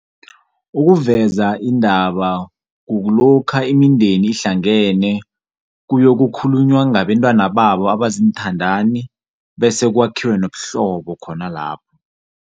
Ukuveza indaba kukulokha imindeni lihlangene, kuyokukhulunywa ngabantwana abaziinthandani, bese kwakhiwe nobuhlobo khona lapho.